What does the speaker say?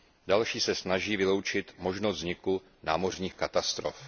Další se snaží vyloučit možnost vzniku námořních katastrof.